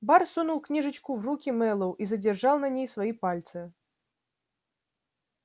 бар сунул книжечку в руки мэллоу и задержал на ней свои пальцы